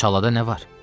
Çalada nə var?